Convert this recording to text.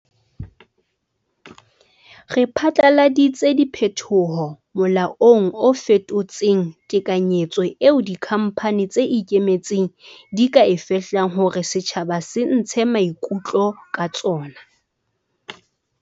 Re phatlaladitse diphetoho molaong o fetotseng tekanyetso eo dikhamphane tse ikemetseng di ka e fehlang hore setjhaba se ntshe maikutlo ka tsona.